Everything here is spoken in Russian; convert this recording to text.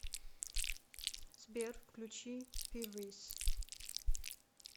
сбер включи пиврис